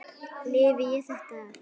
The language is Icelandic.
Lifi ég þetta af?